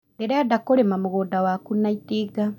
Ndĩrenda kũrĩma mũgũnda waku na itinga